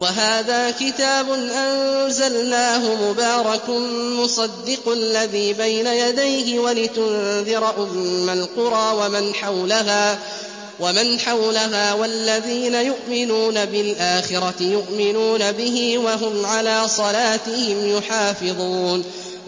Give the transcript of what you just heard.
وَهَٰذَا كِتَابٌ أَنزَلْنَاهُ مُبَارَكٌ مُّصَدِّقُ الَّذِي بَيْنَ يَدَيْهِ وَلِتُنذِرَ أُمَّ الْقُرَىٰ وَمَنْ حَوْلَهَا ۚ وَالَّذِينَ يُؤْمِنُونَ بِالْآخِرَةِ يُؤْمِنُونَ بِهِ ۖ وَهُمْ عَلَىٰ صَلَاتِهِمْ يُحَافِظُونَ